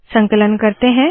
संकलन करते है